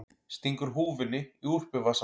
Stingur húfunni í úlpuvasann.